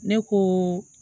Ne ko